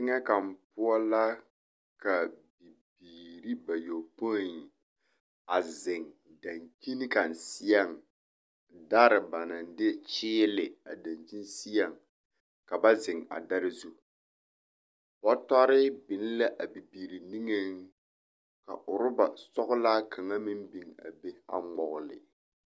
Teŋɛ kaŋa poɔ la ka bibiiri bayɔpoi a zeŋ dankyini kaŋ seɛŋ dare ba naŋ de kyeele a dankyini seɛŋ ka ba zeŋ a dare zu. Bɔtɔre biŋ la a bibiiri niŋeŋ ka oreba sɔgelaa kaŋa meŋ biŋ a be a ŋmɔgele